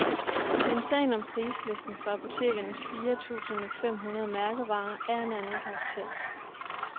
Men sagen om prislisten for apotekernes fire tusind fem hundrede mærkevarer er af en anden karakter.